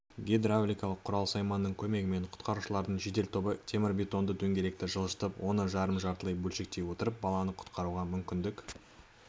гидвравликалық құрал-сайманның көмегімен құтқарушылардың жедел тобы темірбетонды дөңгелекті жылжытып оны жарым-жартылай бөлшектей отырып баланы құтқаруға мүмкіндік